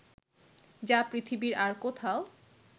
যা পৃথিবীর আর কোথাও